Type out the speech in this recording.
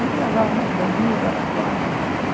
Aí viajava muito Bauru, Araraquara.